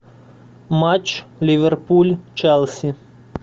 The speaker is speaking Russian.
матч ливерпуль челси